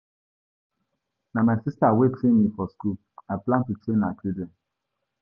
Na my sister wey train me for school, I plan to train her children.